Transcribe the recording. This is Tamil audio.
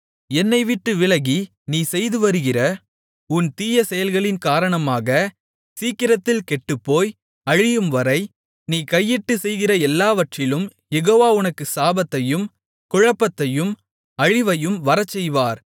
என்னைவிட்டு விலகி நீ செய்துவருகிற உன் தீயசெயல்களின் காரணமாக சீக்கிரத்தில் கெட்டுப்போய் அழியும்வரை நீ கையிட்டுச் செய்கிற எல்லாவற்றிலும் யெகோவா உனக்கு சாபத்தையும் குழப்பத்தையும் அழிவையும் வரச்செய்வார்